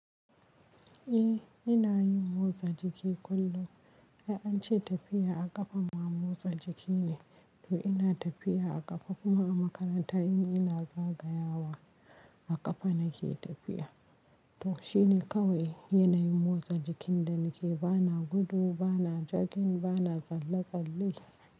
Eh ina yin motsa jiki kullum. Dan ance tafiya a ƙafa ma motsa jiki ne to ina tafiya a ƙafa kuma a makaranta in ina zagayawa a ƙafa nake tafiya. To shine kawai yanayin motsa jikin da nake. Ba na gudu, ba na jogging, ba na tsalle-tsalle.